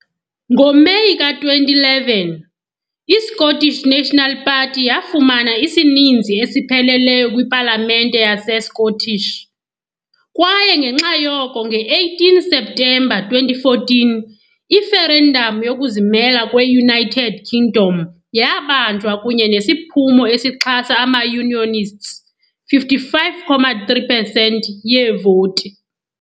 NgoMeyi ka-2011 i -Scottish National Party yafumana isininzi esipheleleyo kwiPalamente yase-Scottish, kwaye ngenxa yoko nge-18 Septemba 2014 i- referendum yokuzimela kwe-United Kingdom yabanjwa kunye nesiphumo esixhasa ama-unionists, 55.3 pesenti yeevoti.